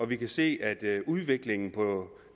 vi kan se at udviklingen